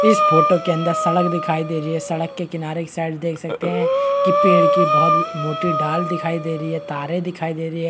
की इस फोटो के अंदर सड़क दिखाई दे रही है सड़क के किनारे इस साइड देख सकते है की पेड़ की बहुत मोटे डाल दिखाई दे रही है तारे दिखाई दे रही है।